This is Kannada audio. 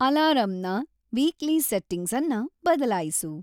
ಅಲಾರಾಂನ ವೀಕ್ಲೀ ಸೆಟ್ಟಿಂಗ್ಸನ್ನ ಬದಲಾಯಿಸು